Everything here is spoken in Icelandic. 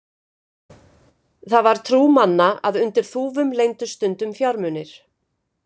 Það var trú manna að undir þúfum leyndust stundum fjármunir.